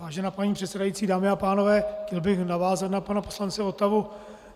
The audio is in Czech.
Vážená paní předsedající, dámy a pánové, chtěl bych navázat na pana poslance Votavu.